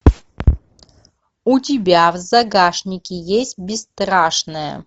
у тебя в загашнике есть бесстрашная